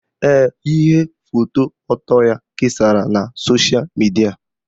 Ee, ihe foto ọtọ ya kesara na sosha midia